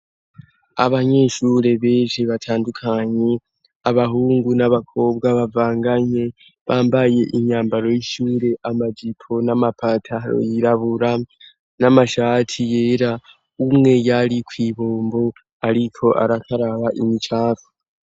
Abanyeshure beje batandukanyi abahungu n'abakobwa bavanganye bambaye imyambaro y'ishure amajipo n'amapataro yirabura n'amashati yera umwe yari kw'ibombo, ariko arakaraba imicava.